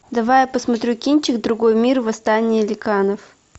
давай я посмотрю кинчик другой мир восстание ликанов